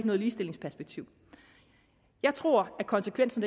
noget ligestillingsperspektiv jeg tror at konsekvensen